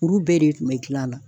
Uru bɛɛ de kun be gilan la